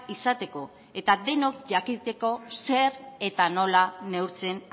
izateko eta denok jakiteko zer eta nola neurtzen